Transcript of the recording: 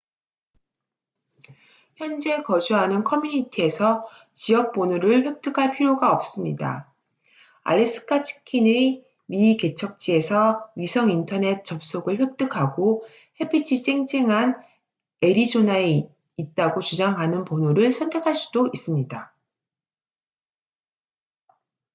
현재 거주하는 커뮤니티에서 지역 번호를 획득할 필요가 없습니다 알래스카 치킨의 미개척지에서 위성 인터넷 접속을 획득하고 햇빛이 쨍쨍한 애리조나에 있다고 주장하는 번호를 선택할 수도 있습니다